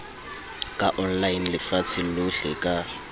ka online lefatsheng lohle ka